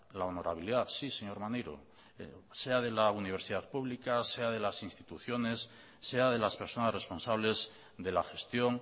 la honorabilidad sí señor maneiro sea de la universidad pública sea de las instituciones sea de las personas responsables de la gestión